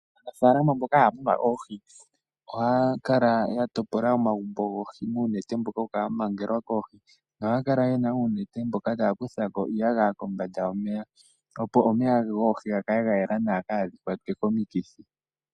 Aanafaalama mboka haya munu oohi, ohaya kala ya topola omagumbo goohi muunete mbono hawu kala wamangelwa koohi, nohaya kala uunete mboka tawu ko iiyagaya kombanda yomeya goohi opo omeya goohi gakale gayela nawa , kaadhi kwatwe komikithi .